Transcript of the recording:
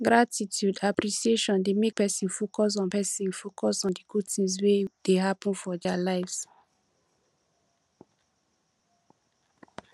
gratitude appreciation dey make person focus on person focus on di good things wey dey happen for their lives